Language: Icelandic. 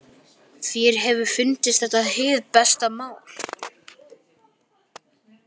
Þér hefur fundist þetta hið besta mál?